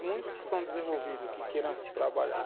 E muitos que são desenvolvidos, que queiram trabalhar,